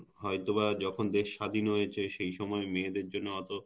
হয়তো বা যখন দেশ স্বাধীন হয়েছে সেই সময় মেয়েদের জন্য অত